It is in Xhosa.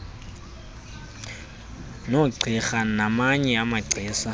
nogqirha namanye amagcisa